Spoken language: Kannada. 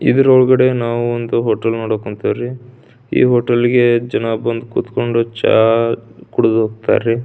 ಇದರ ಒಳಗಡೆ ನಾವು ಒಂದು ಹೋಟೆಲ್ ನೋಡಾಕ್ ಕುಂತೇವರೀ. ಈ ಹೋಟೆಲ್ ಗೆ ಜನ ಬಂದು ಕುಡಿದು ಹೋಗ್ತಾರ ರೀ.